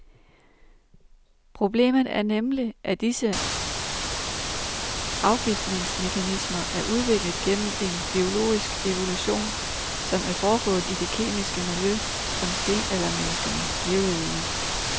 Problemet er nemlig, at disse afgiftningsmekanismer er udviklet gennem en biologisk evolution, som er foregået i det kemiske miljø, som stenaldermenneskene levede i.